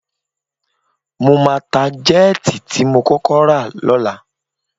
Mo máa ta jẹ́ẹ̀tì tí mo kọ́kọ́ rà lọ́la